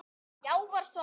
Já var svarið.